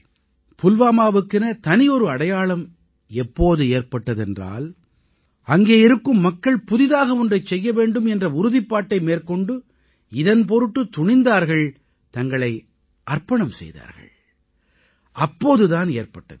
நண்பர்களே புல்வாமாவுக்கென தனியொரு அடையாளம் எப்போது ஏற்பட்டதென்றால் அங்கே இருக்கும் மக்கள் புதியதாக ஒன்றைச் செய்ய வேண்டும் என்ற உறுதிப்பாட்டை மேற்கொண்டு இதன் பொருட்டு துணிந்தார்கள் தங்களை அர்ப்பணம் செய்தார்கள் அப்போது தான்